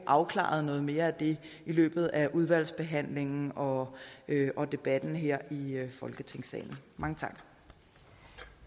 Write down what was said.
afklaret noget mere af det i løbet af udvalgsbehandlingen og og debatten her i folketingssalen mange